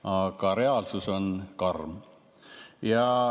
Aga reaalsus on karm.